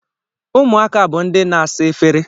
Ụmụaka bu ndị na-asa efere